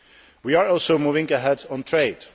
We are also moving ahead on trade.